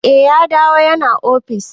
Eh ya dawo ya na ofis.